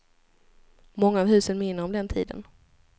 Många av husen minner om den tiden.